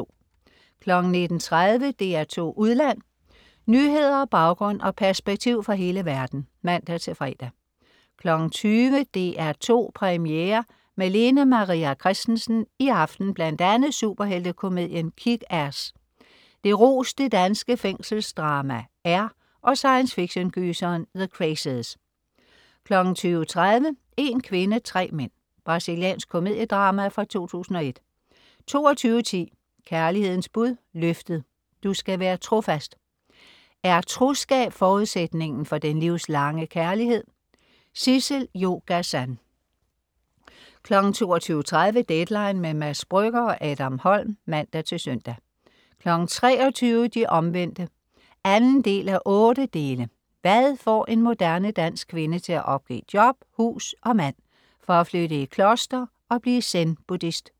19.30 DR2 Udland. Nyheder, baggrund og perspektiv fra hele verden (man-fre) 20.00 DR2 Premiere med Lene Maria Christensen. I aften bl.a. superheltekomedien "Kick Ass", det roste danske fængselsdrama "R" og science fiction-gyseren "The Crazies" 20.30 En kvinde, tre mænd. Brasiliansk komediedrama fra 2001 22.10 Kærlighedens bud. Løftet. Du skal være trofast. Er troskab forudsætningen for den livslange kærlighed? Sissel-Jo Gazan 22.30 Deadline. Mads Brügger/Adam Holm (man-søn) 23.00 De Omvendte 2:8. Hvad får en moderne, dansk kvinde til at opgive job, hus og mand for at flytte i kloster og blive zenbuddhist?